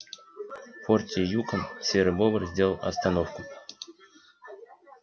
в форте юкон серый бобр сделал остановку